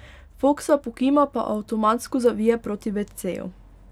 Foksa pokima pa avtomatsko zavije proti veceju.